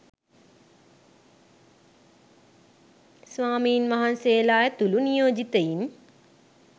ස්වාමීන් වහන්සේලා ඇතුළු නියෝජිතයින්